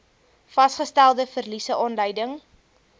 vasgestelde verliese aanleiding